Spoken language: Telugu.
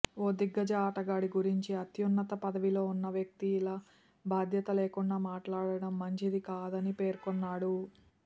ఓ దిగ్గజ ఆటగాడి గురించి అత్యున్నత పదవిలో ఉన్న వ్యక్తి ఇలా బాధ్యత లేకుండా మాట్లాడం మంచిది కాదని పేర్కొన్నాడు